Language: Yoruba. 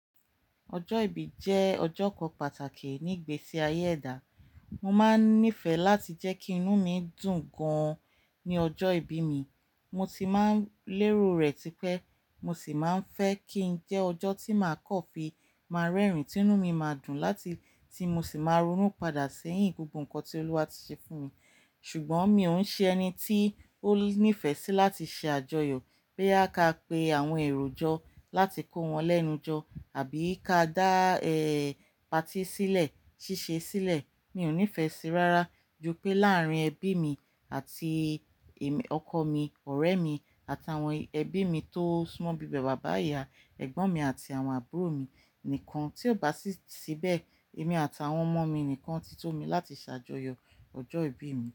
Ọjọ́ ìbí jẹ́ ọjọ́ kan pàtàkì ní ìgbésí ayé ẹ̀dá. Mo máa ń nífẹ̀ẹ́ láti jẹ́ kí inú mi dùn gan-an ní ọjọ́ ìbí mi. Mo ti má ń lérò rẹ̀ tipẹ́ mo sì máa ń fẹ́ kí i jẹ́ ọjọ́ tí màá kọ́ fi máa rẹ́rìn-ín, tí inú mi máa dùn, láti tí mo sì máa ronú padà sẹ́yìn gbogbo nǹkan tí Olúwa ti ṣe fún mi. Ṣùgbọ́n mi ò ń ṣe ẹni tí ó nífẹ̀ẹ́ sí láti ṣe àjọyọ̀ pé a ka pe àwọn èrò jọ láti kó wọn lẹ́nu jọ àbí ká dá ẹ́ pàtí sílẹ̀, ṣíṣe sílẹ̀. Mi ò nífẹ̀ẹ́ sí i rárá, ju pẹ́ láàrín ẹbí mi àti èmi, ọkọ mi, ọ̀rẹ́ mi àtàwọn ẹbí mi tó súmọ́ bíi bàbá, ìyá, ẹ̀gbọ́n mi àti àwọn àbúrò mi nìkan. Tí ò bá sí ibẹ̀, èmi àtàwọn ọmọ mi nìkan ti tó mi láti ṣàjọyọ̀ ọjọ́ ìbí mi.